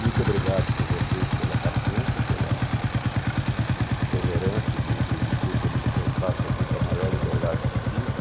Muito obrigado por vocês pela paciência, pela tolerância de permitir que eu me expressasse aqui com a maior liberdade possível.